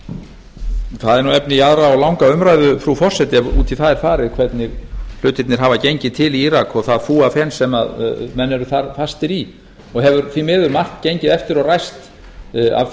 er nú efni í aðra og langa umræðu frú forseti ef út í það er farið hvernig hlutirnir hafa gengið til í írak og það fúafen sem menn eru þar fastir í og hefur því miður margt gengið eftir og ræst af